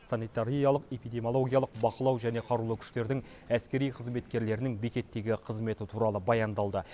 санитариялық эпидемиологиялық бақылау және қарулы күштердің әскери қызметкерлерінің бекеттегі қызметі туралы баяндалды